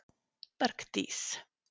Bergdís